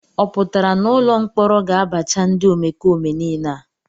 Ọ pụtara na ụlọ mkpọrọ ga-abacha ndị omekome niile a?